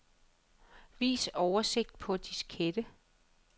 Vis oversigt på diskette.